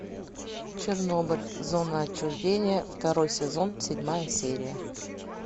чернобыль зона отчуждения второй сезон седьмая серия